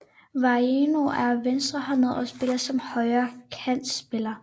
Waino er venstrehåndet og spiller som højre kantspiller